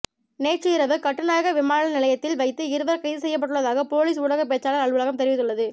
நேற்று இரவு கட்டுநாயக்க விமான நிலையத்தில் வைத்து இவர் கைது செய்யப்பட்டுள்ளதாக பொலிஸ் ஊடகப் பேச்சாளர் அலுவலகம் தெரிவித்துள்ளது